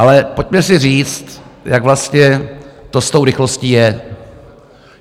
Ale pojďme si říct, jak vlastně to s tou rychlostí je.